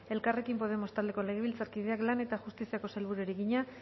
elkarrekin podemos taldeko legebiltzarkideak lan eta justiziako sailburuari egina